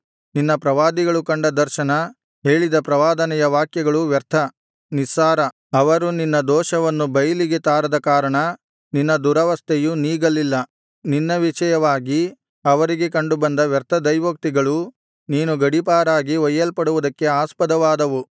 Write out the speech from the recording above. ನಿನ್ನ ಪ್ರವಾದಿಗಳು ಕಂಡ ದರ್ಶನ ಹೇಳಿದ ಪ್ರವಾದನೆಯ ವಾಕ್ಯಗಳು ವ್ಯರ್ಥ ನಿಸ್ಸಾರ ಅವರು ನಿನ್ನ ದೋಷವನ್ನು ಬೈಲಿಗೆ ತಾರದ ಕಾರಣ ನಿನ್ನ ದುರವಸ್ಥೆಯು ನೀಗಲಿಲ್ಲ ನಿನ್ನ ವಿಷಯವಾಗಿ ಅವರಿಗೆ ಕಂಡುಬಂದ ವ್ಯರ್ಥ ದೈವೋಕ್ತಿಗಳು ನೀನು ಗಡೀಪಾರಾಗಿ ಒಯ್ಯಲ್ಪಡುವುದಕ್ಕೆ ಆಸ್ಪದವಾದವು